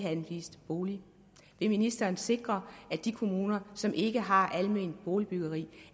anvist en bolig vil ministeren sikre at de kommuner som ikke har alment boligbyggeri